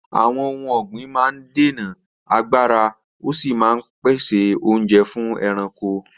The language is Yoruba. Àwọn ohun ọ̀gbìn máa ń dènà àgbàrá, ó sì máa ń pèsè oúnjẹ fún ẹranko.